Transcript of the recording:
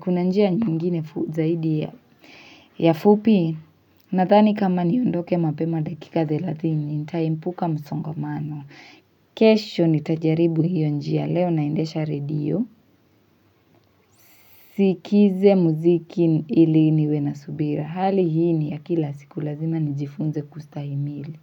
kuna njia nyingine zaidi ya. Ya fupi, nadhani kama niondoke mapema dakika thelathini, nitaepuka msongomano. Kesho nitajaribu hiyo njia, leo naendesha radio. Nisikize muziki ili niwe na subira. Hali hiu ni ya kila siku lazima nijifunze kustahimili.